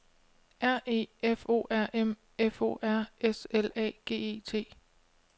R E F O R M F O R S L A G E T